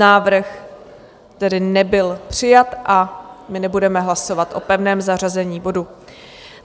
Návrh tedy nebyl přijat a my nebudeme hlasovat o pevném zařazení bodu.